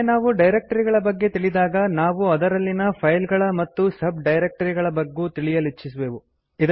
ಒಮ್ಮೆ ನಾವು ಡೈರಕ್ಟರಿಗಳ ಬಗ್ಗೆ ತಿಳಿದಾಗ ನಾವು ಅದರಲ್ಲಿನ ಫೈಲ್ ಗಳ ಮತ್ತು ಸಬ್ ಡೈರಕ್ಟರಿ ಗಳ ಬಗ್ಗೂ ತಿಳಿಯಲಿಚ್ಛಿಸುವೆವು